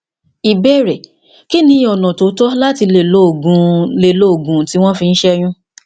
ìbéèrè kí ni ọnà tó tọ láti lè lo òògun lè lo òògun tí wọn fi ń ṣẹyún